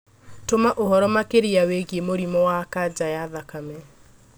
Toma ũhoro makĩria wĩgiĩ mũrimũ wa kanja ya thakame